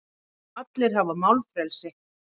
Allir hafa málfrelsi.